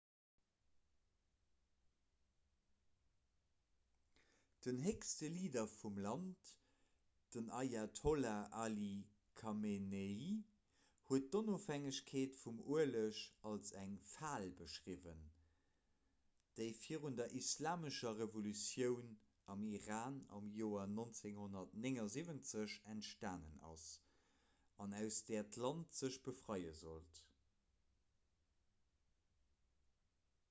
den héchste leader vum land den ayatollah ali khamenei huet d'ofhängegkeet vum ueleg als eng fal beschriwwen déi virun der islamescher revolutioun am iran am joer 1979 entstanen ass an aus där d'land sech befreie sollt